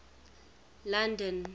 london